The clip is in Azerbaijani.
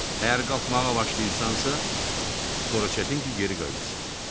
Əgər qalxmağa başlayırsansa, sonra çətin ki, geri qayıdasan.